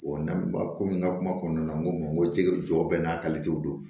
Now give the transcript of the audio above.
n'an ba komi n ka kuma kɔnɔna na n ko n ko jɛgɛ jɔ bɛ n'a kalitew don